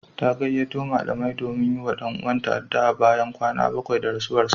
Ta gayyato malamai domin yi wa ɗan uwanta addu'a bayan kwana bakwai da rasuwarsa.